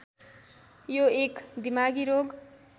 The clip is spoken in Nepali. यो एक दिमागी रोग